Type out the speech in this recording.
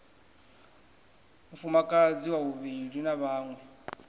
mufumakadzi wa vhuvhili na vhaṅwe